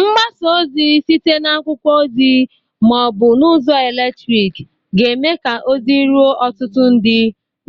Mgbasa ozi site n'akwụkwọ ozi ma ọ bụ n'ụzọ eletriki ga-eme ka ozi ruo ọtụtụ ndị